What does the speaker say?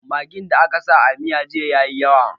Maggin da aka sa a miyan jiya ya yi yawa